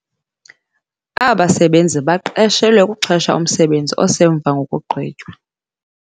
Aba basebenzi baqeshelwe ukuxhesha umsebenzi osemva ngokugqitywa.